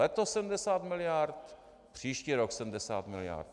Letos 70 miliard, příští rok 70 miliard.